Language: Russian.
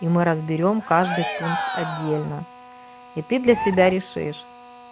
и мы разберём каждый пункт отдельно и ты для себя решишь